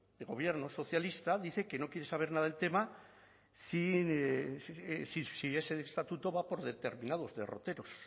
de gobierno socialista dice que no quiere saber nada del tema si ese estatuto va por determinados derroteros